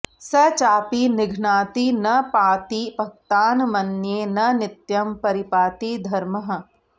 स चापि निघ्नाति न पाति भक्तान् मन्ये न नित्यं परिपाति धर्मः